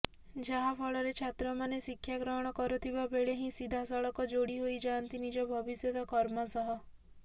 ଯାହାଫଳରେ ଛାତ୍ରମାନେ ଶିକ୍ଷା ଗ୍ରହଣ କରୁଥିବା ବେଳେ ହିଁ ସିଧାସଳଖ ଯୋଡ଼ି ହୋଇଯାଆନ୍ତି ନିଜ ଭବିଷ୍ୟତ କର୍ମ ସହ